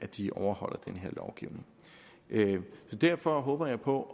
de overholder den her lovgivning derfor håber jeg på